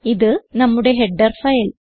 ഇത് നമ്മുടെ header file